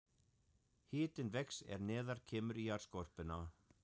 Hitinn vex er neðar kemur í jarðskorpuna.